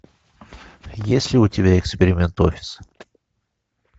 есть ли у тебя эксперимент офис